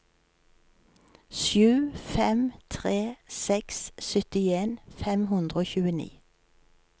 sju fem tre seks syttien fem hundre og tjueni